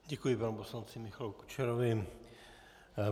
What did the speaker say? Děkuji panu poslanci Michalu Kučerovi.